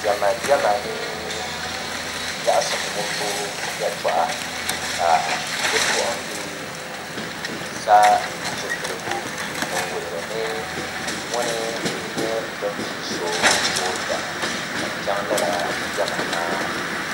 Diɛma diɛma ni nyaɣasim wumbu yɛltɔɣa ka bipuɣunbili sa zipiligu din wuhuri ni ŋuni n nyɛ bin pii so toondana zaŋ chɛŋ lala diɛma maa